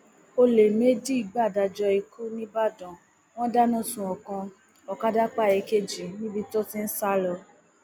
ọlẹ méjì gbàdájọ ikú nìbàdàn wọn dáná sun ọkan ọkadà pa èkejì níbi tó ti ń sá lọ